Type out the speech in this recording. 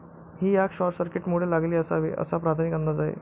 ही आग शॉर्टसर्किटमुळे लागली असावी, असा प्राथमिक अंदाज आहे.